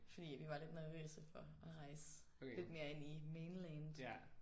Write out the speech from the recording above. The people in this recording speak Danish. Fordi at vi var lidt nervøse for at rejse lidt mere ind i main land